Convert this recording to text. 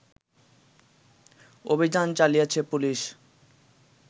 অভিযান চালিয়েছে পুলিশ